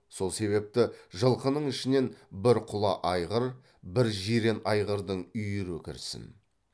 сол себепті жылқының ішіне бір құла айғыр бір жирен айғырдың үйірі кірсін